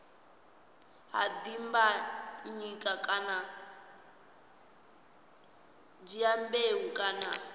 ha dimbanyika kana dyambeu kana